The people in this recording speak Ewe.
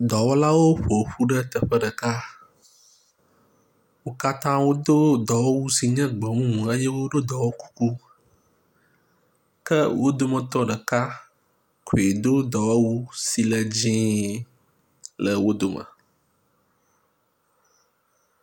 Dɔwɔlawo ƒo ƒu ɖe teƒe ɖeka. Wo katã wodo dɔwɔwu si nye gbemumu eye woɖo dɔwɔkuku ke wo dometɔ ɖeka koe do dɔmewu si le dzɛ̃ le wo dome.